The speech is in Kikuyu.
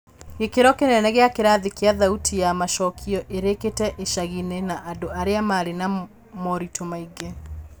Gĩkĩro kĩnene gĩa kirathi kĩa thauti ya macokio irĩkĩte icaginĩ na andũ arĩa marĩ na moritũ maingĩ.